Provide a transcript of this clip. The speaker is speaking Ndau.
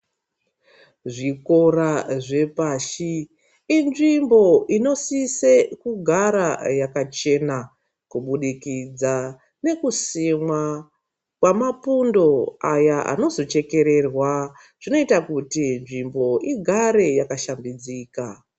Zvikora zvepashi inzvimbo inosise kugara yakachena kubudikidza ngekusimwa kwamapundo aya anozochekererwa, zvinoita kuti nzvimbo igare yakashambidzika.